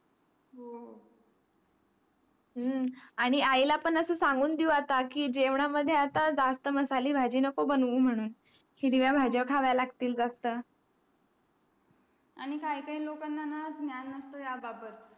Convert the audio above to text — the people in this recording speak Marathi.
हम्म आणि आई ला पण असा सांगून देऊ आता कि जेवणामध्ये आता जास्त मसाले भाजी नको बनवू म्हणून हिरव्या भाज्या खावे लागतील ग आता आणि काय काय लोकं ला ना ज्ञान नसतो ह्या बाबत